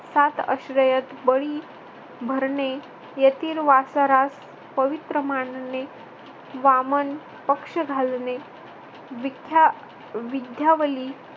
सात अश्रयत बळी भरणे. यथील वासरास पवित्र मानणे. वामन पक्ष घालणे विख्या अह विध्यावैरी